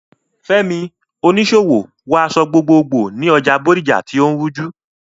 Fẹ́mi, oníṣòwò, wọ aṣọ gbogbogbò ní ọjà Bodija tí ó ń rújú.